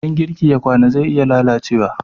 idan girki ya kwana zai iya lalacewa